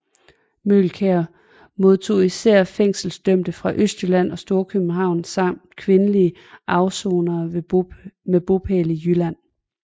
Møgelkær modtog især fængselsdømte fra Østjylland og Storkøbenhavn samt kvindelige afsonere med bopæl i Jylland